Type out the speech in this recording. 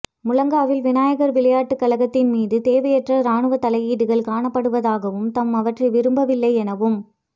முழங்காவில் விநாயகர் விளையாட்டுக்கழகத்தின் மீது தேவையற்ற இராணுவத் தலையீடுகள் காணப்படுவதாகவும் தாம் அவற்றை விரும்பவில்லை எனவும்